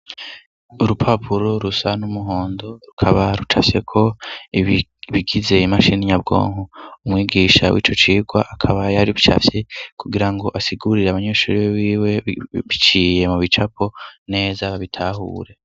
Urupapuro rusa n'umuhondo rukaba rucafyeko ibigize imashini nyabwonko, umwigisha w'ico cigwa akaba yari yacafye kugira ngo asigurire abanyeshuri biwe biciye mu bicapo neza bitahure.